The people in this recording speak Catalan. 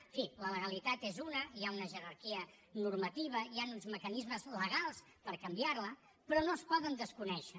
en fi la legalitat és una hi ha una jerarquia normativa hi han uns mecanismes legals per canviar la però no es poden desconèixer